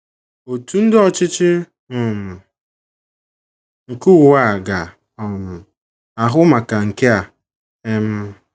Òtù ndi ọchịchị um nke ụwa a ga um - ahụ maka nke a um.